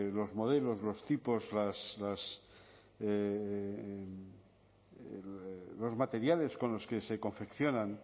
los modelos los tipos los materiales con los que se confeccionan